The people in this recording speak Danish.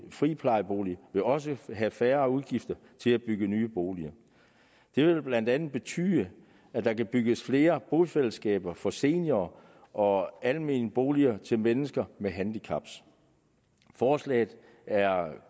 friplejeboliger vil også have færre udgifter til at bygge nye boliger det vil blandt andet betyde at der kan bygges flere bofællesskaber for seniorer og almene boliger til mennesker med handicap forslaget er